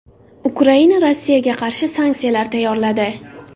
Ukraina Rossiyaga qarshi sanksiyalar tayyorladi.